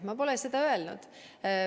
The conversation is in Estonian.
Ma pole seda öelnud.